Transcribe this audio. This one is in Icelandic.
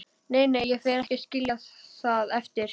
Nei, nei, ég fer ekki að skilja það eftir.